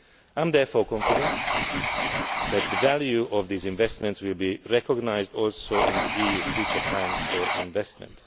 I am therefore confident that the value of these investments will be recognised also in the EU's future plans for investment.